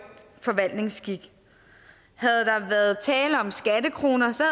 forvaltningsskik havde der været tale om skattekroner så